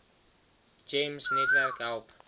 gems netwerk help